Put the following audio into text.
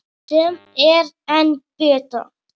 Sem er enn betra.